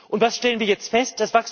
Und was stellen wir jetzt fest?